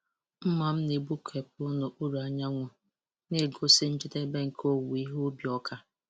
Mma m na-egbukepụ n'okpuru anyanwụ, na-egosi njedebe nke owuwe ihe ubi ọka.